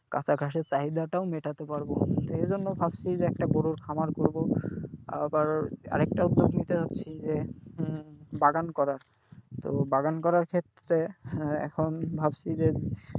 কাঁচা ঘাসের চাহিদাটাও মেটাতে পারবো। তো এইজন্য ভাবছি যে একটা গরুর খামার করবো আবার আর একটা উদ্যোগ নিতে যাচ্ছি যে হম বাগান করার। তো বাগান করার ক্ষেত্রে হ্যাঁ এখন ভাবছি যে,